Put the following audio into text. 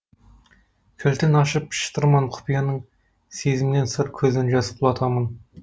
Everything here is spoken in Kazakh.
кілтін ашып шытырман құпияның сезімнен сыр көзден жас құлатамын